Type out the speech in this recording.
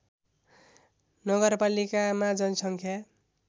नगरपालिकामा जनसङ्ख्या